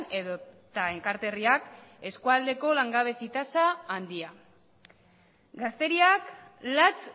edota enkarterriak eskualdeko langabezi tasa handia gazteriak latz